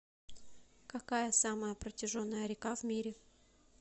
какая самая протяженная река в мире